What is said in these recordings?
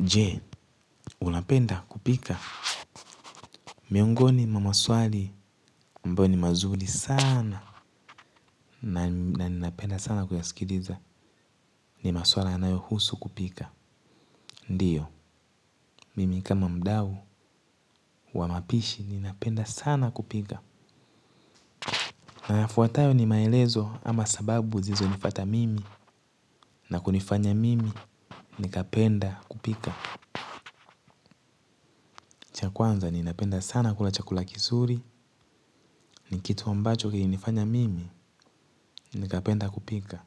Jee, unapenda kupika. Miongoni mwa maswali ambayo ni mazuri sana na ninapenda sana kuyasikiliza ni masuala yanayohusu kupika. Ndiyo, mimi kama mdau wa mapishi ninapenda sana kupika. Yafuatayo ni maelezo ama sababu zilizonifuata mimi na kunifanya mimi, nikapenda kupika. Cha kwanza ninapenda sana kula chakula kizuri ni kitu ambacho kilinifanya mimi nikapenda kupika.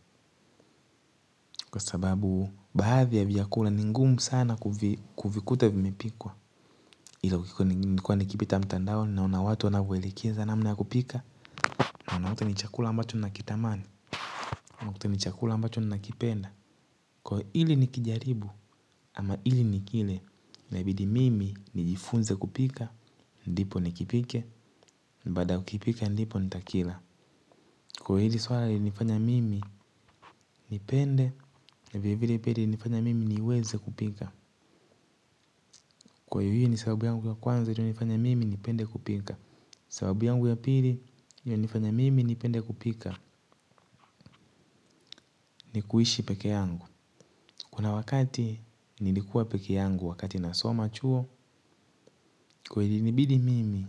Kwa sababu baadhi ya vyakula ni ngumu sana kuvikuta vimepikwa. Ila nilikuwa nikipita mtandao naona watu wanavyoelekeza namna ya kupika. Na yote ni chakula ambacho nakitamani. Na yote ni chakula ambacho nakipenda ili nikijaribu ama ili ningine inabidi mimi nijifunze kupika. Ndipo nikipike. Baada kuipika ndipo nitakila. Kwa hili swala linanifanya mimi nipende na vile vile pia linanifanya mimi niweze kupika. Kwa hivyo hii ni sababu yangu ya kwanza inayonifanya mimi nipende kupika. Sababu yangu ya pili linanifanya mimi nipende kupika ni kuishi pekee yangu. Kuna wakati nilikuwa pekee yangu wakati nasoma chuo ilinibidi mimi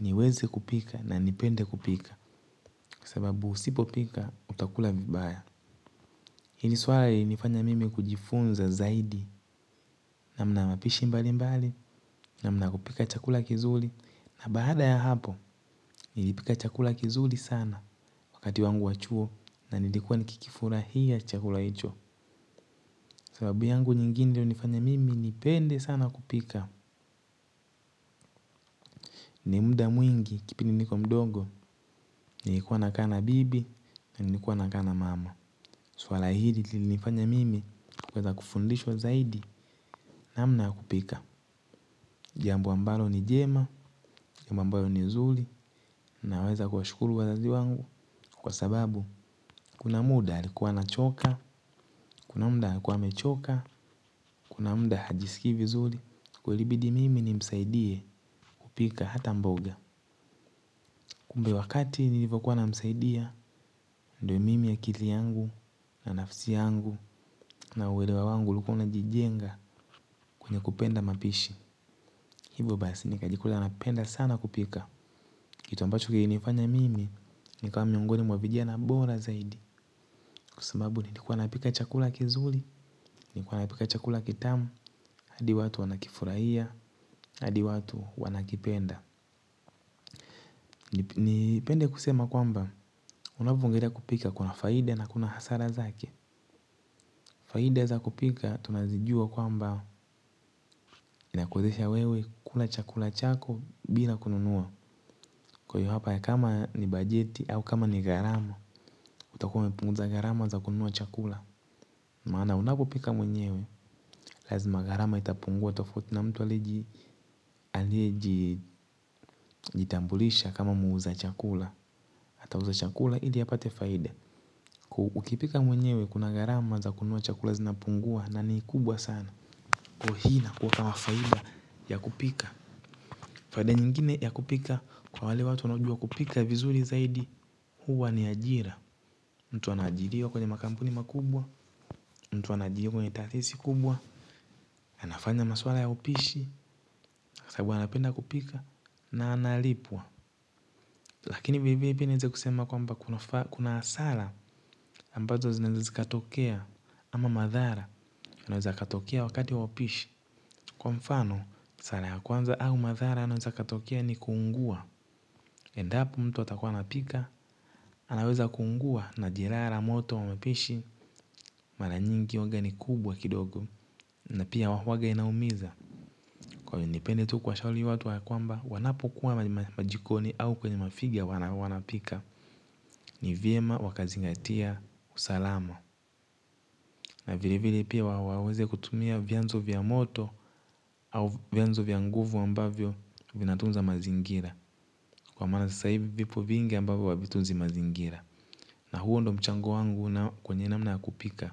niweze kupika na nipende kupika. Sababu usipo pika utakula vibaya. Hili swala yanifanya mimi kujifunza zaidi namna ya mapishi mbalimbali. Namna ya kupika chakula kizuri. Na baada ya hapo nilipika chakula kizuri sana. Wakati wangu wa chuo na nilikuwa nikikifurahia chakula hicho. Sababu yangu nyingine iliyonifanya mimi nipende sana kupika. Ni muda mwingi kipindi niko mdogo. Nilikuwa nakaa na bibi na nilikuwa nakaa na mama. Swala hili linifanya mimi kuweza kufundishwa zaidi namna ya kupika jambo ambalo ni njema jambo ambayo ni nzuri naweza kuwashukuru wazazi wenzangu kwa sababu kuna muda alikuwa anachoka. Kuna muda alikuwa amechoka. Kuna muda hajisikii vizuri. Kulibidi mimi nimsaidie kupika hata mboga. Kumbe wakati nilivyokuwa namsaidia ndiyo mimi akili yangu na nafsi yangu na uelewa wangu ulikuwa unajijenga. Kwenye kupenda mapishi. Hivyo basi nikajikuta napenda sana kupika. Kitu ambacho kilinifanya mimi nikawa miongoni mwa vijana bora zaidi. Kwa sababu nilikuwa napika chakula kizuri. Nilikuwa napika chakula kitamu. Hadi watu wanakifurahia. Hadi watu wanakipenda. Nipende kusema kwamba, unavyoendelea kupika kuna faida na kuna hasara zake. Faida za kupika tunazijua kwamba inakuwezesha wewe kula chakula chako bila kununua. Kwa hivyo hapa kama ni bajeti au kama ni gharama, utakuwa umepunguza gharama za kununua chakula. Maana unapopika mwenyewe, lazima gharama itapungua tofauti na mtu aliyejitambulisha kama muuzaji chakula. Ata uza chakula ili apate faida ukipika mwenyewe kuna gharama za kununua chakula zinapungua na ni kubwa sana. Kwa hii inakuwa kama faida ya kupika. Faida nyingine ya kupika kwa wale watu wanaojua kupika vizuri zaidi huwa ni ajira mtu anajiriwa kwenye makampuni makubwa, mtu anajiriwa kwenye taasisi kubwa. Anafanya masuala ya upishi, kwa sababu anapenda kupika na analipwa. Lakini hivi hivi pia niweze kusema kwamba kuna hasara ambazo zinazoweza zikatokea. Ama madhara yanaweza katokea wakati upishi. Kwa mfano hasara ya kwanza au madhara yanaweza yakatokea yaani kuungua endapo mtu anapika anaweza kuungua na jeraha la moto la upishi mara nyingi huwa ni kubwa kidogo. Na pia huwa inaumiza. Washauri watu ya kwamba wanapokuwa kuwa kwenye majikoni ama kwenye mafiga wanapika. Nivyema wakazingatia usalama. Na vile vile pia waweze kutumia vyanzo vya moto au vyanzo vya nguvu ambavyo vinatunza mazingira. Kwa mara sasa hivi vipo vingi ambavyo havitunzi mazingira. Na huwo ndiyo mchango wangu kwenye namna ya kupika.